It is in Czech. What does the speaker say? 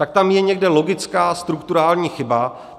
Tak tam je někde logická strukturální chyba.